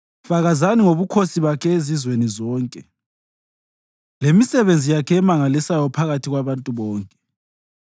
Fakazani ngobukhosi bakhe ezizweni zonke, lemisebenzi yakhe emangalisayo phakathi kwabantu bonke.